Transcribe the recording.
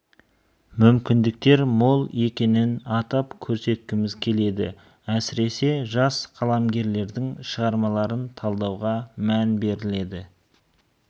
мүмкіндіктер мол екенін атап көрсеткіміз келеді әсіресе жас қаламгерлердің шығармаларын талдауға мән берілді